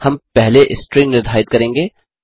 हम पहले स्ट्रिंग निधारित करेंगे